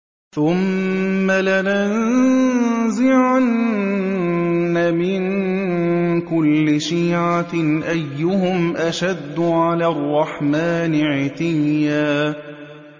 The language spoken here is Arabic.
ثُمَّ لَنَنزِعَنَّ مِن كُلِّ شِيعَةٍ أَيُّهُمْ أَشَدُّ عَلَى الرَّحْمَٰنِ عِتِيًّا